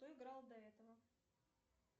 кто играл до этого